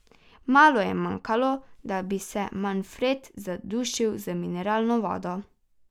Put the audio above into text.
Malo je manjkalo, da bi se Manfred zadušil z mineralno vodo.